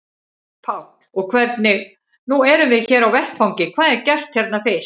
Páll: Og hvernig, nú erum við hér á vettvangi, hvað er gert hérna fyrst?